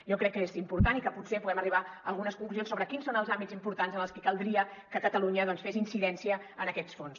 jo crec que és important i que potser podem arribar a algunes conclusions sobre quins són els àmbits importants en els que caldria que catalunya fes incidència en aquests fons